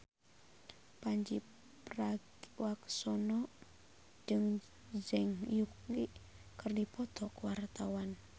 Pandji Pragiwaksono jeung Zhang Yuqi keur dipoto ku wartawan